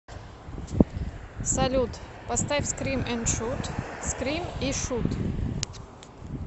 салют поставь скрим энд шут скрим и шут